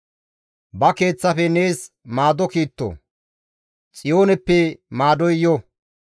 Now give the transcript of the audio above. Ba Keeththafe nees maado kiitto; Xiyooneppe maadoy yo.